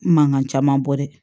Mankan caman bɔ dɛ